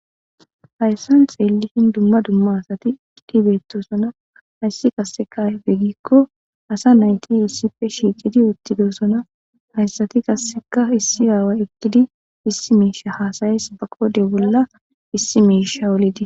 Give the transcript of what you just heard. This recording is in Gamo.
Hayssan xeelishin dumma dumma asati tibetosona hayssi kassekaefe gikko asa nayti issife shiicidi uttidosona hayssati kasseka issi aawa ekkidi issi miisha haasayes ba qode bolla issi miisha wolidi.